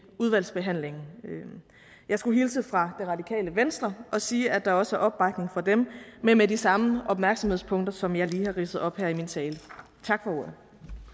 udvalgsbehandlingen jeg skulle hilse fra det radikale venstre og sige at der også er opbakning fra dem men med de samme opmærksomhedspunkter som jeg lige har ridset op her i min tale tak for ordet